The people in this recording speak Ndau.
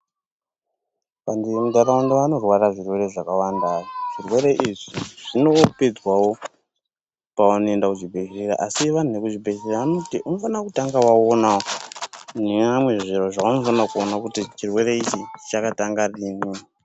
Vantu vemuntaraunda vanorwara zvirwere zvakawanda. Zvirwere izvi zvinopedzwawo pavanoenda kuzvibhedhleya, Asi vanhu vekuzvibhedhleya vanoti unofanira kutanga waonao neamwe zviro zvavanofanira kuona kuti chirwere ichi chakatanga rini.